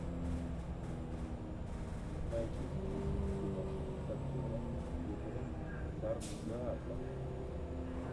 найди список киношек с актером питером сарсгаардом